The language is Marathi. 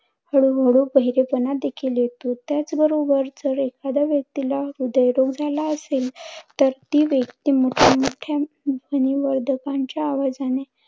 हळूहळू बहिरेपणा देखील येतो. त्याचबरोबर जर एखाद्या व्यक्तीला हृद्यरोग झाला असेल, तर ती व्यक्ती मोठ्मोठ्या ध्वनी वर्धकांच्या आवाजाने